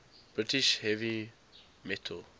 british heavy metal